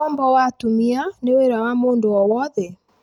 Ũkombo wa atumia nĩ wĩra wa mũndũ o wothe.